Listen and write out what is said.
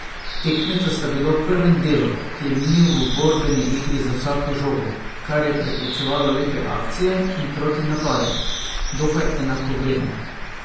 Tekmeca sta bila v prvem delu, ki je minil v borbeni igri za vsako žogo, kar je preprečevalo lepe akcije in protinapade, dokaj enakovredna.